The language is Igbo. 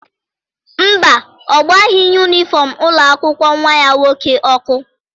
Mba, ọ gbaghị yunifọm ụlọ akwụkwọ nwa ya nwoke ọkụ.